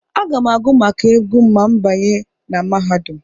Aga m agụ maka egwu ma m banye na mahadum.